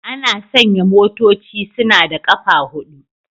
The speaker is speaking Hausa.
Ana sanya motoci suna da ƙafa huɗu